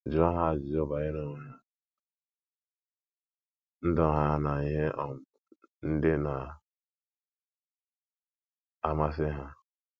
Jụọ ha ajụjụ banyere onwe ha, ndụ ha na ihe um ndị na - amasị ha.